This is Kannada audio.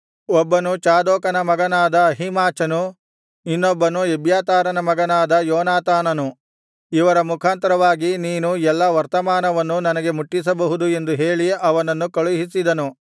ಒಬ್ಬನು ಚಾದೋಕನ ಮಗನಾದ ಅಹೀಮಾಚನು ಇನ್ನೊಬ್ಬನು ಎಬ್ಯಾತಾರನ ಮಗನಾದ ಯೋನಾತಾನನು ಇವರ ಮುಖಾಂತರವಾಗಿ ನೀನು ಎಲ್ಲಾ ವರ್ತಮಾನವನ್ನು ನನಗೆ ಮುಟ್ಟಿಸಬಹುದು ಎಂದು ಹೇಳಿ ಅವನನ್ನು ಕಳುಹಿಸಿದನು